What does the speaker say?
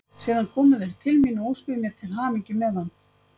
Síðan komu þeir til mín og óskuðu mér til hamingju með hann.